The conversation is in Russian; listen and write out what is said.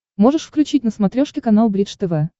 можешь включить на смотрешке канал бридж тв